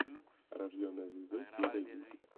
рожденная звездой серия десять